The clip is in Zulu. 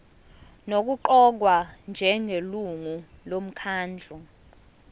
nokuqokwa njengelungu lomkhandlu